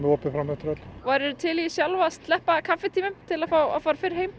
opið fram eftir öllu værir þú til í sjálf að sleppa kaffitímum til að fá að fara fyrr heim